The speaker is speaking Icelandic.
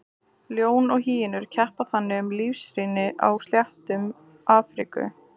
Ljón og hýenur keppa þannig um lífsrými á sléttum Afríku.